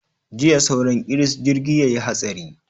Jiya sauran kiris jirgi ya yi hatsari.